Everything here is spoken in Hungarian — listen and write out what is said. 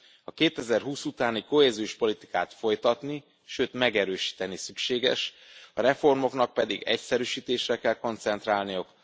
A 2020 utáni kohéziós politikát folytatni, sőt megerősíteni szükséges, a reformoknak pedig egyszerűsítésre kell koncentrálniuk.